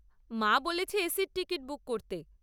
মা বলেছে এসির টিকিট বুক করতে।